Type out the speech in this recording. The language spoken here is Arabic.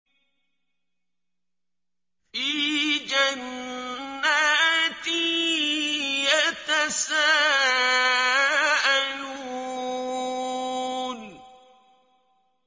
فِي جَنَّاتٍ يَتَسَاءَلُونَ